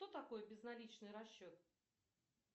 что такое безналичный расчет